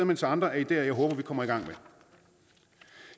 mens andre er ideer jeg håber vi kommer i gang